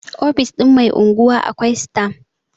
ofoshin Mai unguwa akwai stam